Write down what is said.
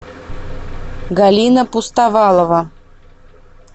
галина пустовалова